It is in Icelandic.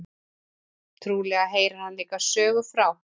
Trúlega heyrir hann líka sögu frá